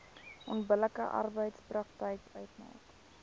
onbillike arbeidspraktyk uitmaak